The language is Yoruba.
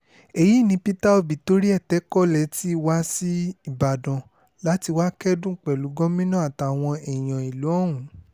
èyí ni peter obi torí ẹ̀ tẹkọ̀ lẹ́tì wá sí ìbàdàn láti wáá kẹ́dùn pẹ̀lú gómìnà àtàwọn èèyàn ìlú ọ̀hún